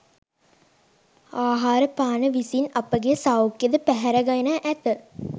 ආහාරපාන විසින් අපගේ සෞඛ්‍යය ද පැහැරගෙන ඇත.